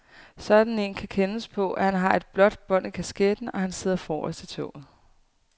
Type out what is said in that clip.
Sådan en kan kendes på, at han har et blåt bånd i kasketten, og at han sidder forrest i toget.